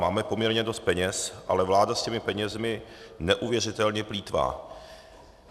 Máme poměrně dost peněz, ale vláda s těmi penězi neuvěřitelně plýtvá.